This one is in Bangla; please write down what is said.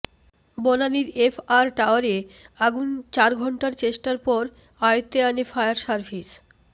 বনানীর এফ আর টাওয়ারে আগুন চার ঘণ্টা চেষ্টার পর আয়ত্তে আনে ফায়ার সার্ভিস